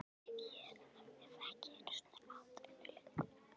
Ég hef ekki einu sinni atvinnu lengur